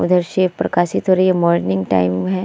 उधर शिव प्रकाशित हो रही है। मोर्निंग टाइम है।